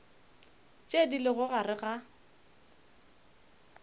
tše di lego gare ga